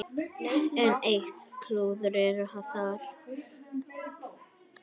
Enn eitt klúðrið þar!